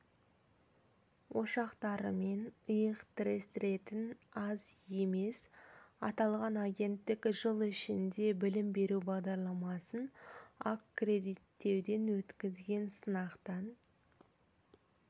ошақтарымен иық тірестіретін аз емес аталған агенттік жыл ішінде білім беру бағдарламасын аккредиттеуден өткізген сынақтан